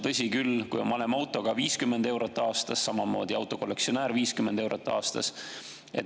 Tõsi küll, kui on vanem auto, siis 50 eurot aastas, samamoodi autokollektsionäär 50 eurot aastas.